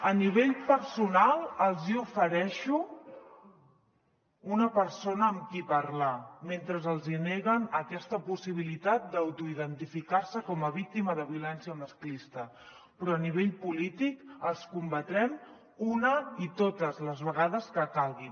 a nivell personal els hi ofereixo una persona amb qui parlar mentre els hi neguen aquesta possibilitat d’autoidentificar se com a víctima de violència masclista però a nivell polític els combatrem una i totes les vegades que calguin